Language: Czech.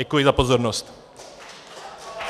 Děkuji za pozornost.